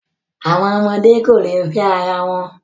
Àwọn ọmọdé kò lè fẹ́ ara wọn.